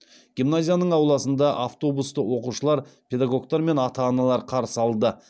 гимназияның ауласында автобусты оқушылар педагогтар мен ата аналар қарсы алды